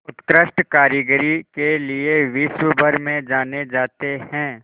उत्कृष्ट कारीगरी के लिये विश्वभर में जाने जाते हैं